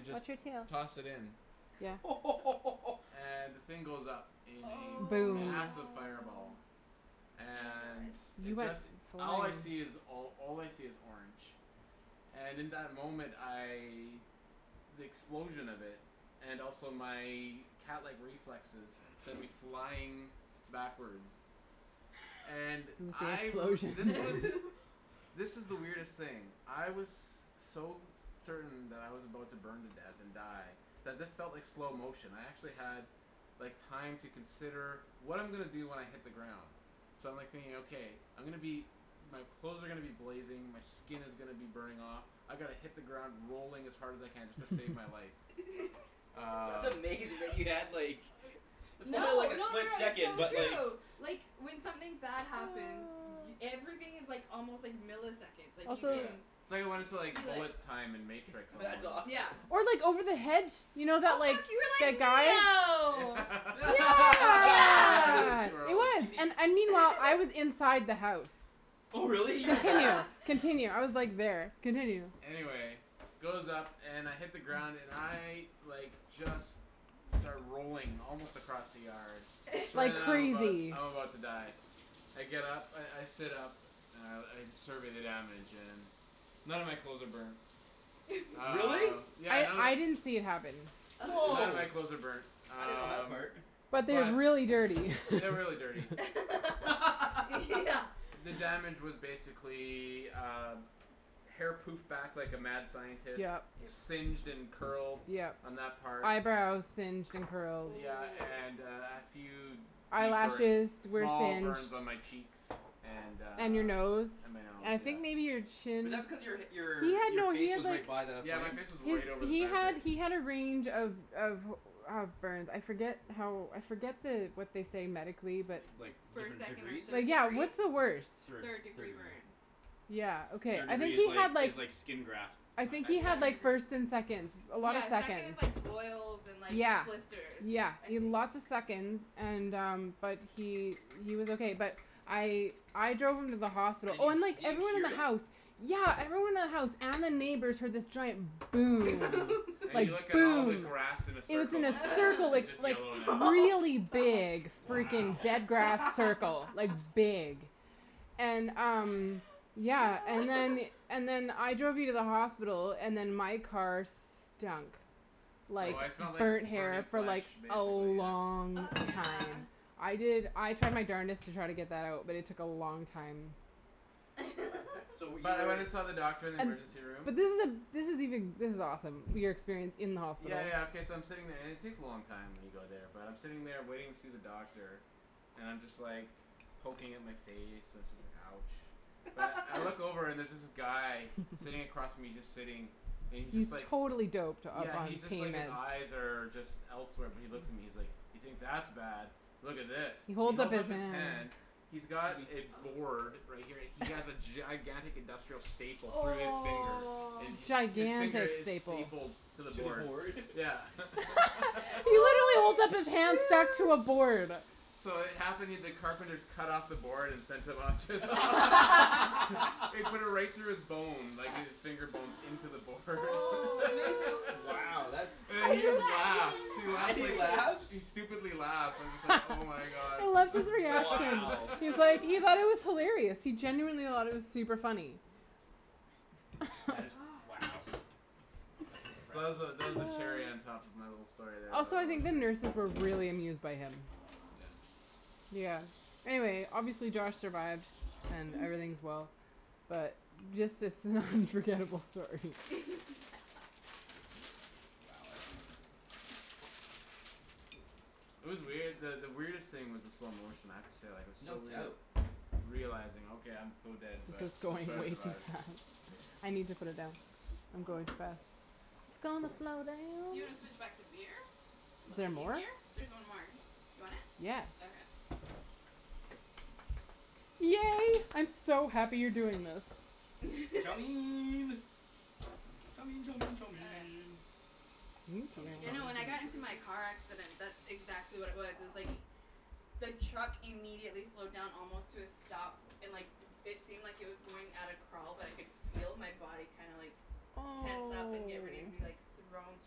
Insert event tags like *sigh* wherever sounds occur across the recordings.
just watch your tail. toss it in. Yeah. *laughs* And the thing goes up in a Aw. Boom. massive Oh fireball. my And gosh. You it went just, all I flying. see is all I see is orange. And in that moment I, the explosion of it, and also my catlike reflexes send me flying backwards. And *noise* *inaudible* the I r- this explosion was, *laughs* *laughs* this is the weirdest thing. I was so certain that I was about to burn to death and die that this felt like slow motion. I actually had like time to consider what I'm gonna do when I hit the ground. So I'm like thinking okay, I'm gonna be, my clothes are gonna be blazing, my skin is gonna be burning off, I gotta hit the ground rolling as hard as I can just to save my life. *laughs* That's Um amazing that you had like, *laughs* *noise* it probably was No, like no a no split no it's second, so but true. *noise* Like like when something bad happens y- *noise* everything is like almost like milliseconds, like you Also Yeah. can It's like I wanted to like feel it. bullet time in matrix That's almost. Yeah. awesome. Or like over the hedge, you know that like, Oh that guy. fuck, you Yeah. were *laughs* like Neo! Speaking of Yes. *laughs* Yes! It squirrels. was and and meanwhile, I was *laughs* inside the house. Oh really, you were Continue. there? *laughs* Continue. I was like there. Continue. Anyway it goes up and I hit the ground and I like just start rolling, almost across the yard. *inaudible* Like *laughs* I'm about crazy. I'm about to die. I get up, I I sit up and I survey the damage and none of my clothes are burned. *laughs* Really? Um yeah I none of I didn't see it happen. None of Wow, my clothes are burned. I didn't know that Um part. But but they're they're really dirty. *laughs* really dirty. *laughs* Yeah. *laughs* The damage was basically, uh, hair poofed back like a mad scientist, Yep. Yep. singed and curled Yep. on that part. Eyebrows singed and curled. Yeah and uh and a *noise* few deep burns, Eyelashes were small singed. burns on my cheeks. And uh And your nose. And my nose And I yeah. think maybe your Is chin. that because your He your had your no he face had was like, right by the Yeah my flame? face was he's right over the he fire had pit. he had a range of of of burns, I forget how, I forget the what they say medically but Like First, different second or degrees? third yeah, degree? what's the worst? Third. Third Third degree degree. burn. Yeah okay, Third I degree think is he had like, is like skin graft *inaudible* I I think had he Yeah. had second like degree. first and seconds, a lot of Yeah second is seconds. like boils and like Yeah, blisters. yeah I he had think. lots of seconds and um but he he was okay but I I drove him to the hospital, Did oh you and like did you everyone in hear the house, it? yeah everyone in the house and the neighbors heard this giant boom. And Like you *laughs* look at all boom! the And grass in a it was in circle, *laughs* it's a just circle, it's like *noise* just like yellow now. Oh really fuck. big Wow. freaking dead grass circle, like big. *laughs* And um *noise* yeah, and then *laughs* and then I drove you to the hospital, and then my car stunk Oh like I *inaudible* smelled like burnt burning hair for flash like a basically yeah. long Oh yeah. time. I did I tried my darnedest to try to get that out but it took a long time. *noise* So *laughs* were you But I went and *inaudible* saw the doctor in the And, emergency room. but this is the this is even, this is awesome, your experience in the hospital. Yeah yeah okay so I'm sitting there and it takes a long time when you go there but I'm sitting there waiting to see the doctor and I'm just like, poking at my face and so it's like ouch. But I look *noise* *laughs* over and there's this guy, sitting *laughs* across from me, and he's just sitting, and he's just He's like totally doped up Yeah on he's just like, pain his meds. eyes are just elsewhere but he looks at me and he's like, "You think that's bad, look at this." He He holds up holds his up his hand. hand, he's got a Susie. board, right here, he has a *noise* gigantic industrial staple through his finger Oh. and his finger Gigantic is staple. stapled to the To the board. board? *laughs* Yeah. *laughs* *laughs* He literally holds up his Holy hand stacked to a shoot. board. So it *inaudible* the carpenters cut off the board and sent him to the hos- *laughs* *laughs* They put it *laughs* right through his bone, like his finger bones, in to the board *laughs* *noise* How Wow that's, And he does just laughs. He that and laughs he like, even happen? he laughs? stupidly laughs, and I'm just *laughs* like oh my god. I loved his *laughs* reaction. Wow. He's like, he God. thought it was hilarious. He genuinely *inaudible* it was super funny. That is *laughs* wow. Gosh. That's So that was the, impressive. that was the cherry on *noise* top of my little story there Also I think the *inaudible* nurses were really amused by him. Yeah. Yeah. Anyway, obviously Josh survived and everything's well. But just it's an unforgettable story. *laughs* Yeah. Wow, that's interesting. It was weird that the weirdest thing was the slow motion, I have to say like it was No so weird doubt. realizing okay, I'm so dead This but is let's going try to way too survive. fast. I need to put it down. I'm going too fast. It's gonna slow down. You wanna switch back to beer? Is Is there it more? easier? There's one more. You want it? Yeah. Okay. Yay, I'm so happy you're doing this. Chow! *laughs* Chow chow chow *inaudible* mein. Chow mein You chow know mein when chow I got in to mein chow my car *inaudible* accident mein *inaudible* that's exactly what it was. It was like, the truck immediately slowed down almost to a stop and like it seemed like it was going at a crawl but I could feel my body kinda like Oh. tense up and get ready to be like, thrown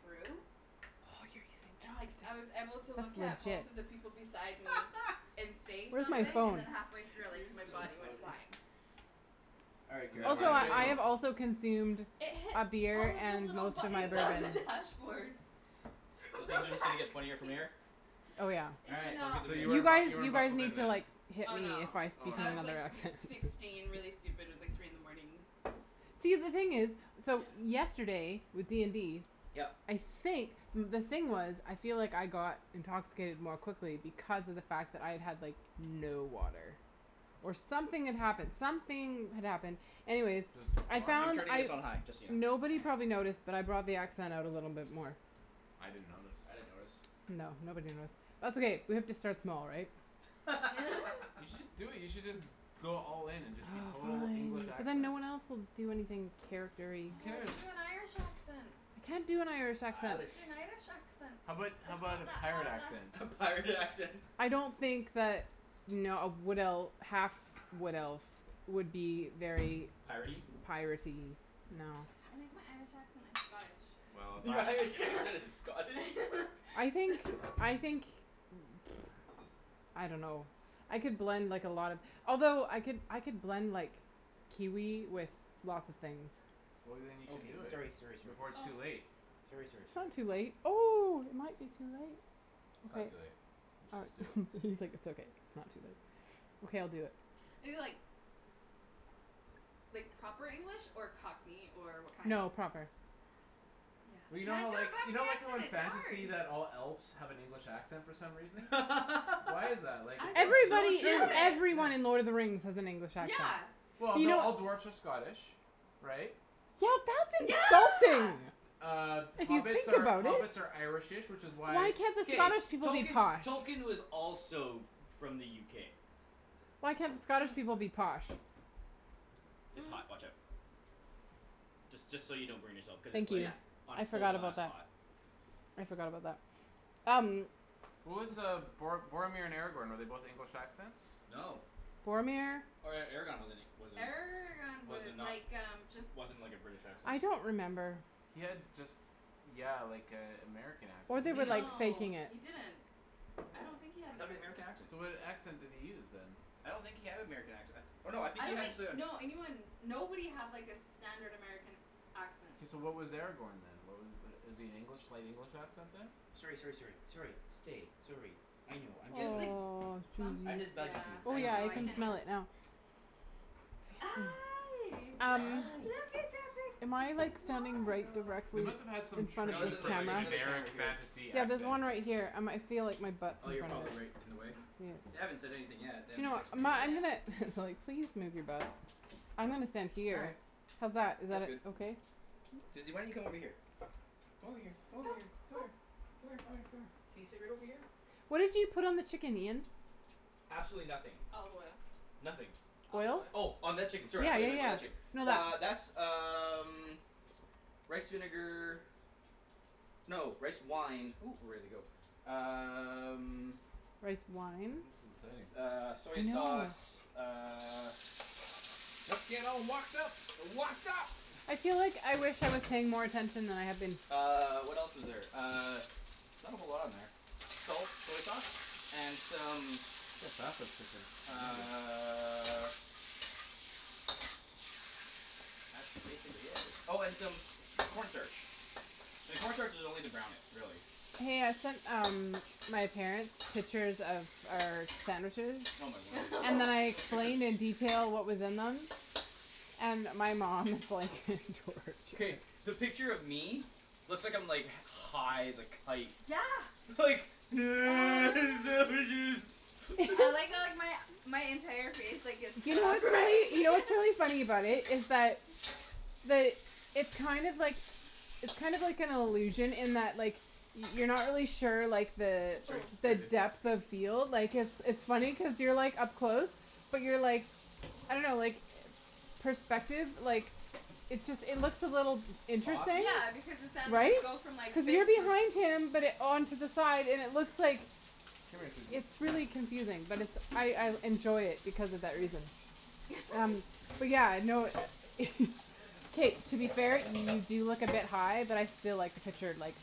through. Oh you're using And like I was able to *inaudible* look at that's legit. both of the people beside me *laughs* and say Where's my something and phone? then halfway through I like, You're my so body went funny. flying. All right Do you Kara, know Also where I'm did it I go? have gonna also consumed It hit a beer all of the and little most of my buttons on bourbon. the dashboard. So From the things are just gonna get funnier from backseat. here? Oh yeah. All right, sounds good So to you You *inaudible* weren't me. bu- guys, you weren't you guys buckled in need to then. like hit Oh me no. if I speak Oh in I no. was like another accent. sixteen really stupid, it was like three in the morning. See the thing is, so yesterday with D and D, Yep. I think the thing was, I feel like I got intoxicated more quickly because of the fact that I had like no water. Or something had happened, something had happened. Anyways, I I'm found *inaudible* turning I this on high, just so you know. nobody probably Okay. noticed but I brought the accent out a little bit more. I didn't notice. I didn't notice. No, nobody noticed. That's okay, we have to start small right? *laughs* You should *laughs* just do it, you should just go all in and just be Aw total fine, English but then accent. no one else will do anything charactery. Who Aw, cares? do an Irish accent. I can't do an Irish accent. Do Irish. an Irish accent. How about how It's about not a that pirate hard accent? lass. A pirate accent! I don't think that no a wood elf, a half wood elf would be very Piratey? piratey, no. I think my Irish accent is Scottish. Well, Your *laughs* that Irish accent is Scottish? I think, *laughs* I think, *noise* I don't know I could blend like a lot of, although I could I could blend like Kiwi with lots of things. Well then you should do Okay, it sorry sorry before it's Oh. too sorry. late. Sorry sorry It's sorry. not too late. Oh, it might be too late. It's not Okay. too late. You should All just do it. right *laughs* he's like it's okay, it's not too late. Okay I'll do it. Is it like like proper English or Cockney or what kind? No, proper. Yeah. Well you know how Can't do a like, you know Cockney like how accent, in it's fantasy hard! that all elves have an English accent for some reason? Why is *laughs* that, like *inaudible* is it It's so Everybody in true! Yeah. Yeah. everyone in Lord of the Rings has an English accent. Yeah. Well You no, know all dwarves are Scottish. Right? Yeah that's insulting! Yeah! Uh If you hobbits think are about it. hobbits are irish-ish which is why Why can't the K. Scottish people be Tolkien, posh? Tolkien was also f- from the UK. Why can't the Scottish people be posh? It's hot, *noise* watch out. Just just so you don't burn yourself because it's Thank like you. Yeah. on I full forgot about blast that. hot. I forgot about that. Um. What was uh Bor- Boromir and Aragorn, were they both English accents? No. Boromir? Or Aragorn wasn't he wasn't Aragorn was was it like um just not, wasn't like a British accent. I don't remember. He had just yeah like a American Or accent they were basically. like Mhm. No faking it. he didn't. I don't think he *inaudible* had an American American *inaudible* accent. So what accent did he use then? I don't think he had an American accent, I th- oh no I think I he don't had think, to no anyone nobody had like a standard American accent. So what was Aragorn then wha- was *inaudible* is he an English, slight English accent then? Sorry sorry sorry. Sorry, stay, sorry. I know, I'm It just was like bugging you. Aw someth- I'm Susie. just bugging yeah, you, Oh I I don't know yeah know. I I I can can't smell really it know. now. *noise* Hi! *noise* Um, look Hi. at am that I like big standing right smile. They directly must've had some in front of No it's training this in the, for like there's camera? another generic camera here. fantasy Yeah there's accent. one right here I might feel like my butt's Oh in you're front of probably it. right in the way? Yeah. They haven't said anything yet, they Do you haven't know what, texted um me my I'm gonna, yet. they're like, please move your butt. I'm gonna stand All here. right. How's that, is that That's good. uh okay? Susie why don't you come over here? Come here, come Go! over here, come Go! here, come here, come here, come here. Can you sit right over here? What did you put on the chicken Ian? Absolutely nothing. Olive oil. Nothing. Olive Oil? oil. Oh on that chicken sorry I Yeah thought you yeah meant yeah. about that chick- No Uh that that's um *noise* rice vinegar. No, rice wine, ooh we're ready to go. Um. Rice wine? *inaudible* Uh I soy know. sauce, uh. Let's get all wokd up! Wokd up! I feel like I wish I was paying more attention than I have been. Uh, what else is there, uh, not a whole lot on there. Salt, soy sauce, and some *inaudible* how fast it's cooking *inaudible* uh *inaudible* Oh and some corn starch. And corn starch is only to brown it, really. Hey I sent um my parents pictures of our sandwiches, Oh my word. and then *laughs* I Those explained in pictures. detail what was in them. And my mom was like *laughs* *inaudible* K, the picture of me, looks like I'm like high as a kite. Yeah. Like, *noise* *noise* sandwiches. I *laughs* like how like my my entire face like gets You cut know off *laughs* what's funny, right. you know what's really funny about it is that, the it's kind of like, it's kind of like an illusion in that like you're not really sure like the Oops sorry the *inaudible* depth of field like cuz it's it's funny cuz you're like up close. But you're like, I don't know like, perspective like, it just it looks a little Off. interesting, Yeah because the sound of right? it *inaudible* Cuz you're behind him but on to the side and it looks like, Come here Susie, it's come here really confusing but it's Come I here I Susie. enjoy it because of Susie that come here. reason. Um, *laughs* Come here. but yeah, Come lie no, down. Come lie down. *laughs* k to be Lie fair down. you do look a bit high but I still like the Lie down. picture like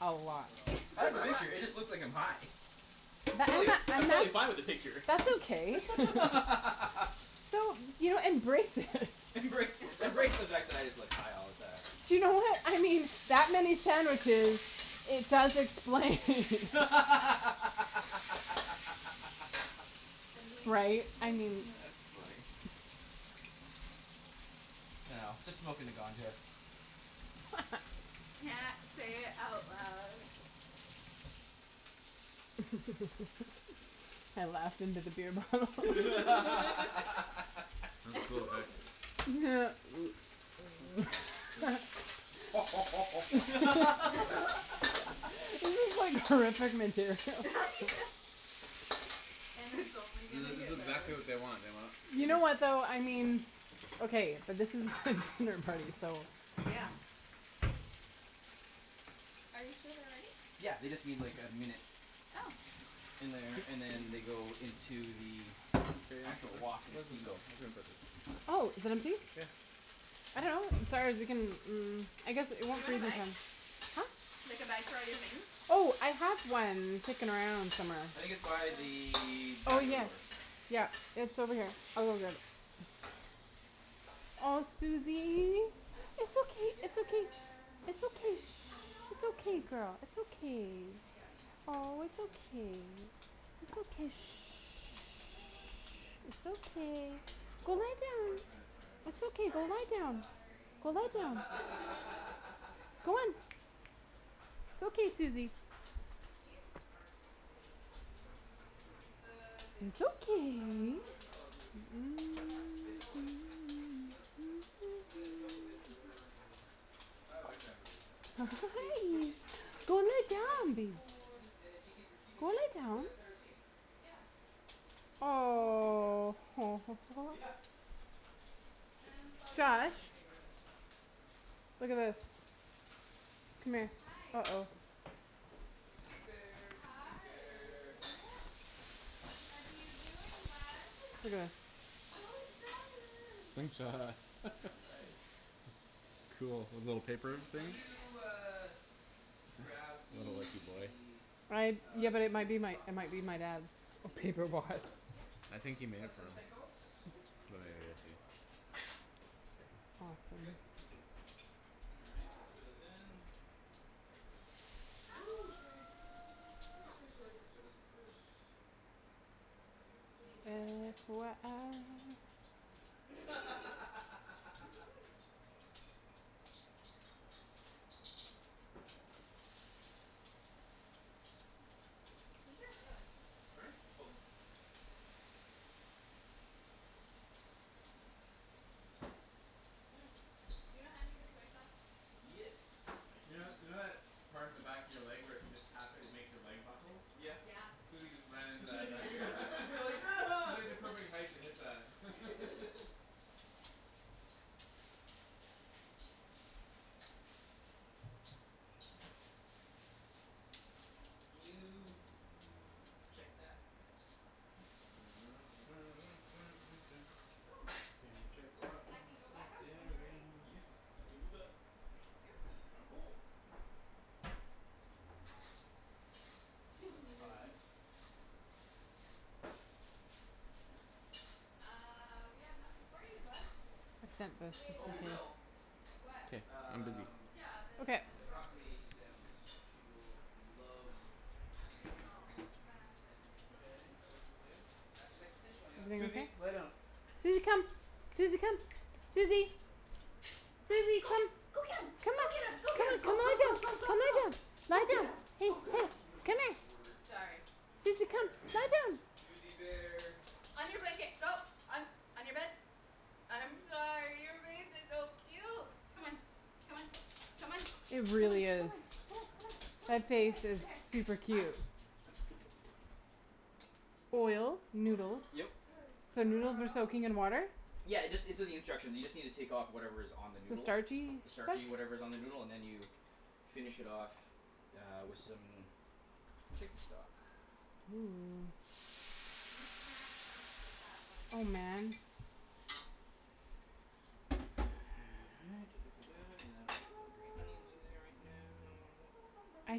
a Good lot. girl. *inaudible* *laughs* It just looks like I'm high. *inaudible* I'm and totally I'm totally fine with the that's, picture. that's okay. *laughs* So, you know embrace it *laughs* Embrace, embrace *laughs* the fact that I just look high all the time. You know what, I mean that many sandwiches, it does explain *laughs* *laughs* Right, I *noise* mean. it's funny. *inaudible* *inaudible* Yeah. Say it out loud. *laughs* I laughed in to the beer bottle *laughs* *laughs* *inaudible* go ahead. *laughs* *noise* *laughs* *laughs* *laughs* *laughs* *laughs* This *laughs* is like *laughs* horrific material. *laughs* Yeah. And it's only This gonna is this get is better. exactly what they want, they want You know *inaudible* what though, I mean, okay but this is a *laughs* dinner party so. Yeah. Are you sure they're ready? Yeah they just need like a minute. Oh. In there, and then they go into the Kara you wanna put actual this, wok and where's this steam go, out. *inaudible* Oh, is it empty? Yeah. I dunno. *inaudible* Mm, I guess it Do you won't. *inaudible* wanna bag? Huh? Like a bag for all your things? Oh, I have one kicking around somewhere. I think it's by the Oh, patio yes. door. Yeah, it's over here. I'll go get it. Aw Suzy, it's okay, it's okay. *noise* Chicken! It's Chicken okay, is shh, it's okay good girl, it's okay. Chicken is Aw, it's good. okay. It's okay, shh. Mm, chicken is good. Chicken is It's good. okay. Chicken is Go lie good. down. Poor transcribers. It's *laughs* okay. Go lie I'm down. sorry! Go lie down. Go on. *laughs* *laughs* *laughs* It's okay, Suzy. Ian started it. It's the, it's, It's it's from okay. uh, *noise* whatever you call it movie. What? Fifth Element. Mila, Mina Johovich or whatever her name is. When she I like finds, that movie. *noise* when That's *inaudible* she movie. tastes chicken she's like, Go lie "Chicken down is babe. good" and then she keeps repeating Go it lie for down. the entire scene. Yeah. Multipass. Aw. *inaudible* *noise* Yeah! Man, this always been one Josh? of my favorites. Look at this. Come here. Hi. uh-oh. Suzy bear, Suzy Hi! bear. What are you doing, bud? Look at this. So excited. *inaudible* All *laughs* right. Cool. The little paper Can thing? you uh, grab What a lucky boy. the I, yeah, uh, but it might chicken be my, stock it might for be me my dad's oh from the paper fridge bots. please? Yeah. I think he made it Please and though. thank yous. It's But at the maybe very we'll very see. bottom. Thank you. Awesome All right, let's throw this in. Actually no. Ooh, sorry! Ooh Ah! sorry sorry, let's throw this in first. Let that go Maybe I, I away F won't y *inaudible* i scream. *laughs* *laughs* Ginger or garlic? Pardon me? *noise* Both. Mm, you don't have any of the soy sauce? Yes, I You keep know, in you know there. that part of the back of your leg where if you just tap it, it makes your leg buckle? Yeah. Yeah. Suzy just ran *laughs* You're into like that back *laughs* *inaudible* *laughs* *inaudible* to hit that *laughs* *laughs* Can you check that? *noise* Can you *noise* check the That can go back up when you're ready. Yes, I can do that. *inaudible* Thank you. *inaudible* Now that's five. Suzy! Uh, we have nothing for you, bud. Accept You this wanna eat a just Oh in we bug? case will. What? Can't, I'm busy. Um Yeah, Okay. the The broccoli broccoli stems, she will love I know. Um, but till Okay, then that looks okay? That's the next dish going up. Everything okay? Suzy lay down. Suzy come. Suzy come. Suzy! Suzy Go! come. Go get 'em! Come on. Go get 'em! Go get 'em, Come, go come go lie go down. go go Come lie go! down. Go Lie get down. 'em, Hey, go get here. 'em! *laughs* Oh Come here. my word. Sorry. Suzy Suzy come. bear. Lie down. Suzy bear! On your blanket, go. On, on your bed. I'm sorry, your face is so cute! Come on, come on, come on. It Come on, come on, really come is. on, come on, come on, come on. Right That here, face is right here. super I'm cute. Lay Oil, down. noodles. *noise* Yep. Good So noodles were girl! soaking in water? Yeah, it just, it's in the instruction. You just need to take of whatever is on the The noodle. starchy The stuff? starchy whatever is on the noodle, and then you finish it off uh, with some chicken stock. Ooh. You can't bounce with that one. Oh man. All right, ta ta ta ta, and then I'll put the green onions in there right now. I